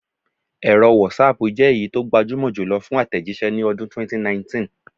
Ẹ̀rọ wọ́saapù jẹ́ èyí tó gbajúmọ̀ jùlọ fún àtẹ̀jíṣẹ́ ní ọdún 2019